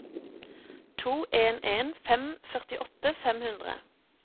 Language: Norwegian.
to en en fem førtiåtte fem hundre